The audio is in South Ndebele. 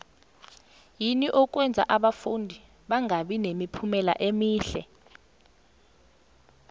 yini okwenza abafundi bangabi nemiphumela emihle